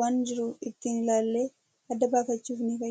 waan jiru ittiin ilaallee adda baafachuuf ni fayyada.